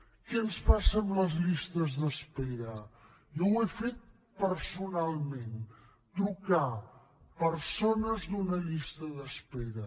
què ens passa amb les llistes d’espera jo ho he fet personalment trucar persones d’una llista d’espera